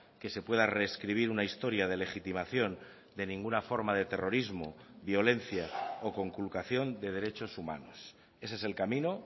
que se pueda reescribir una historia de legitimación de ninguna forma de terrorismo violencia o conculcación de derechos humanos ese es el camino